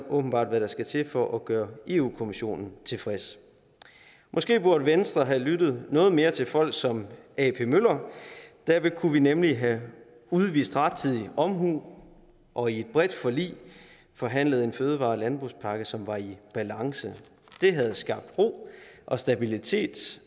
åbenbart hvad der skal til for at gøre europa kommissionen tilfreds måske burde venstre have lyttet noget mere til folk som ap møller derved kunne vi nemlig have udvist rettidig omhu og i et bredt forlig forhandlet en fødevare og landbrugspakke som var i balance det havde skabt ro og stabilitet